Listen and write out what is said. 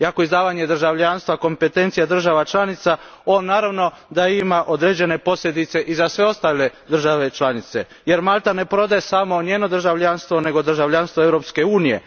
Iako je izdavanje državljanstva kompetencija država članica, ovo naravno da ima određene posljedice za sve ostale države članice, jer Malta ne prodaje samo njeno državljanstvo nego državljanstvo Europske unije.